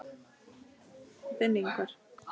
Þinn, Ingvar.